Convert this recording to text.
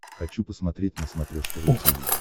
хочу посмотреть на смотрешке ру ти ви